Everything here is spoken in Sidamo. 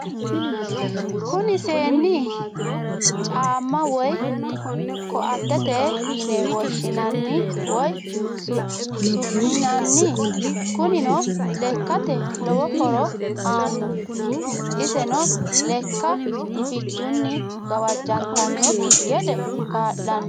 Kuni seenu caama woyi koatete yine woshinanni woyi su'minanni, kunino lekkate lowo horo aano, iseno lekka gufichuni gawajantanokki gede kaa'lano